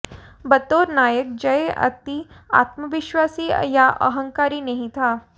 बतौर नायक जय अति आत्मविश्वासी या अहंकारी नहीं था